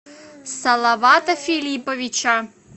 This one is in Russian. салавата филипповича